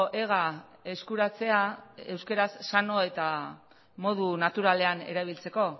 ega eskuratzea euskaraz sano eta modu naturalean erabiltzeko